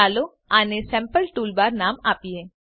ચાલો આને sample toolbar નામ આપીએ